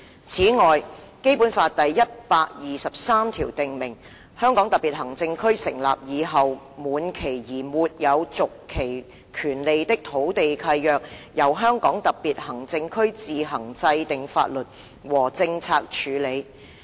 "此外，《基本法》第一百二十三條訂明，"香港特別行政區成立以後滿期而沒有續期權利的土地契約，由香港特別行政區自行制定法律和政策處理。